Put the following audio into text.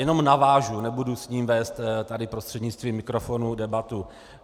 Jenom navážu, nebudu s ním vést tady prostřednictvím mikrofonu debatu.